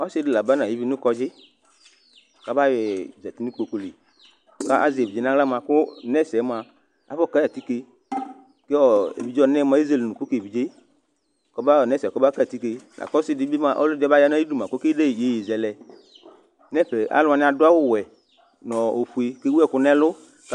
Ɔsidi laba nʋ ayʋ vie nʋ kɔdzi kʋ aba yɔyi yadʋ nʋ ikpokʋli kʋ azɛ evidze nʋ aɣla mʋa kʋ nɛsɛ mʋa afɔkayi atike evidze ɔnɛ mʋa ezele ʋnʋkʋ kʋ evidze kʋ nɛsɛ kɔbaka yi atike kʋ ɔsidibi aba yanʋ ayʋ idʋ mʋa kʋ ɔkedeyi iyeye zɛlɛ nʋ ɛfɛ alʋ wani adʋ awʋwɛ nʋ ofʋe kʋ ewʋ ɛkʋ nʋ ɛlʋ